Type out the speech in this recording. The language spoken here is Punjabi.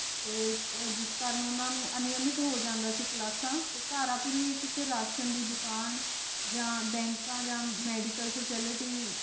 ਤੇ ਜਿਸ ਕਰਨ ਓਨਾਂ ਨੂ ਅਨੇਆਮਿਤ ਹੋ ਜਾਂਦਾ ਸੀ ਕ੍ਲਾਸ੍ਸਾਂ ਧਾਰਾਪੁਰੀ ਕਿਸੇ ਰਾਸ਼ਨ ਦੀ ਦੁਕਾਨ ਯਾਨ ਬੈੰਕਾਂ ਯਾ ਮੇਦੀਵ੍ਕਲ ਫਾਕਿਲਿਟੀ